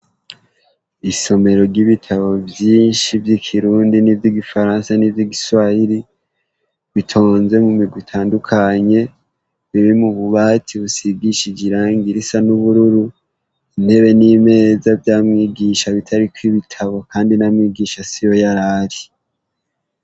Isomero ry'ibitabo vyinshi vy'ikirundi n'ivy'igifaransa n'ivy'igiswahiri bitonze mu mirwi itandukanye, biri mu bubati busigishije iranga risa n'ubururu, intebe n'imeza vya mwigisha bitariko ibitabo kandi na mwigisha siho yar'ari.